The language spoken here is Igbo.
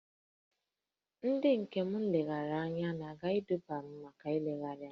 Ndị njem nlegharị anya na-aga Dubai Mọl maka ịlegharị anya